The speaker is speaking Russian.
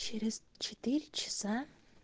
через четыре часа